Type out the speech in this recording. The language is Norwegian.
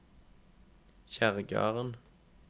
Kjerrgarden